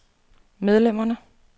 medlemmerne